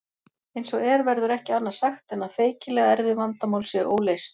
Eins og er verður ekki annað sagt en að feikilega erfið vandamál séu óleyst.